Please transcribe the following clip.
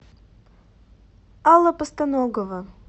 алла постаногова